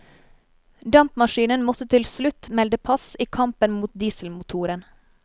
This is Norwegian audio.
Dampmaskinen måtte til slutt melde pass i kampen mot dieselmotoren.